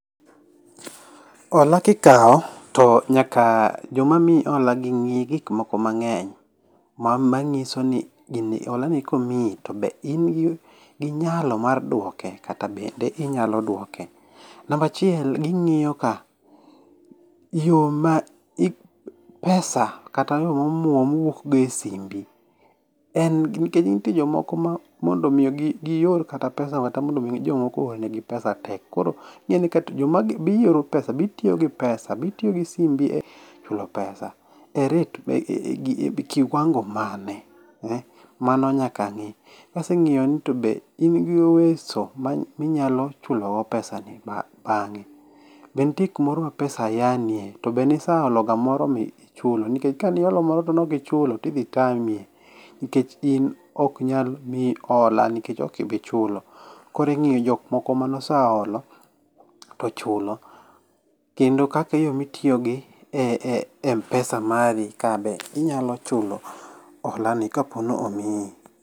Hola kikaw to nyaka jom amiyi hola gi nge gik moko mang'eny manyisoni holani komiyi be in gi nyalo mar duoke kata bende inyalo duoke. Namba achiel ging'iyo ka yoo ma pesa, kata yoo ma omuom wuok go e simbi nikech nitie jok moko mondo mi gior kata pesa kata mondo mi jomoko oornegi pesa tek, koro ing'eni kata, be ioro pesa, be itiyo gi pesa, be itiyo gi simu e golo pesa e rate, e kiwango mane, eeh, mano nyaka ng'i. Kosengiyo ni tobe in gi uweso minyalo chulogo pesa ni bange, be nitie kumaoro ma pesa yaanie, tobe nisaologa moro ma ichulo nikech kane iolo moro to ne ok ichulo tidhi tami nikech in ok nyal miyi hola nikech ok ibi chulo. Koro ing'iyo jokmane oseolo to chulo. Kendo kaka yoo mitiyo gi Mpesa mari kabe inyalo chulo olani kaponi omiyi